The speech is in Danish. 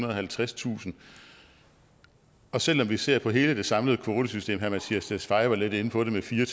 og halvtredstusind og selv om vi ser på hele det samlede kvotesystem herre mattias tesfaye var lidt inde på det med fire